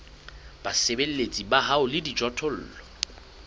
basebeletsi ba hao le dijothollo